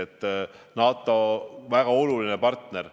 USA on NATO-s väga oluline partner.